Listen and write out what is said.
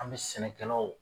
An bɛ sɛnɛkɛlaw